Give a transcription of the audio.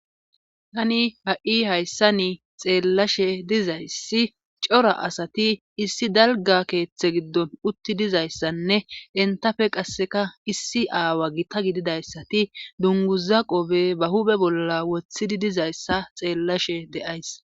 tani ha7i hayssa ni xeellashe dizayssi cora asati issi dalga keeththe giddon utti dizayssanne entafe qasseka issi aawa gita gididayssati dunguza qobe ba hube bolla woththidi dizayssa xeellashe de7ays